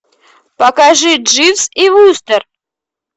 покажи дживс и вустер